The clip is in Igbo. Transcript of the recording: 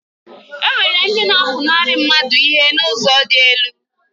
Enwere ndị na-apụnara mmadụ ihe n'ụzọ dị elu.